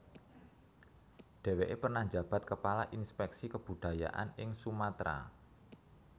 Deweke pernah njabat kepala Inspeksi Kebudayaan ing Sumatera